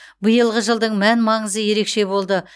биылғы жылдың мән маңызы ерекше болды